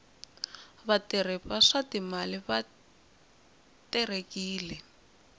vatirhi va swa timali va terekile